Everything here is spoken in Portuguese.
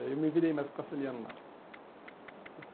Aí eu me virei mais castelhano lá.